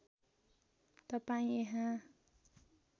तपाईँ यहाँ